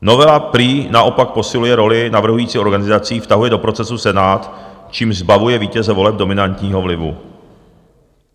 Novela prý naopak posiluje roli navrhujících organizací, vtahuje do procesu Senát, čímž zbavuje vítěze voleb dominantního vlivu.